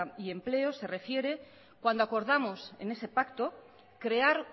y empleo se refiere cuando acordamos en ese pacto crear